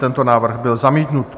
Tento návrh byl zamítnut.